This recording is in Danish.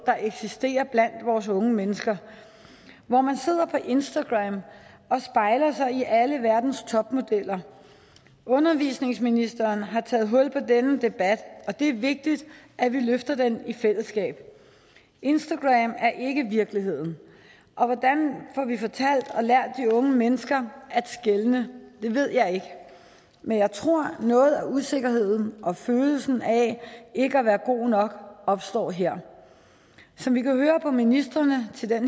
der eksisterer blandt vores unge mennesker hvor man sidder på instagram og spejler sig i alle verdens topmodeller undervisningsministeren har taget hul på denne debat og det er vigtigt at vi løfter den i fællesskab instagram er ikke virkeligheden og hvordan får vi fortalt og lært de unge mennesker at skelne det ved jeg ikke men jeg tror at noget af usikkerheden og følelsen af ikke at være god nok opstår her som vi kan høre på ministrene